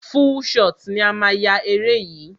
Full shot ni a máa yá eré yìí.